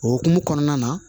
O hukumu kɔnɔna na